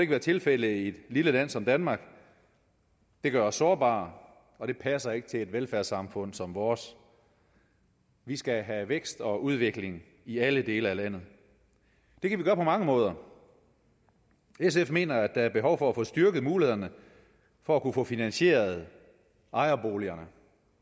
være tilfældet i et lille land som danmark det gør os sårbare og det passer ikke til et velfærdssamfund som vores vi skal have vækst og udvikling i alle dele af landet det kan vi gøre på mange måder sf mener at der er behov for at få styrket mulighederne for at kunne få finansieret ejerboligerne